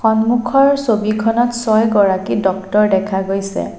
সন্মুখৰ ছবিখনত ছয়গৰাকী ডক্তৰ দেখা গৈছে।